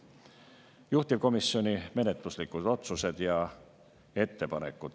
Juhtivkomisjoni menetluslikud otsused ja ettepanekud.